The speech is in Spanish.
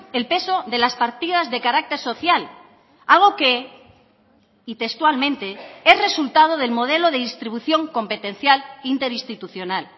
el peso de las partidas de carácter social algo que y textualmente es resultado del modelo de distribución competencial interinstitucional